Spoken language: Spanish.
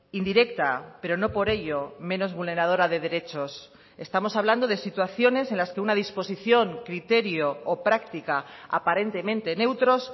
indirecta pero no por ello menos vulneradora de derechos estamos hablando de situaciones en las que una disposición criterio o práctica aparentemente neutros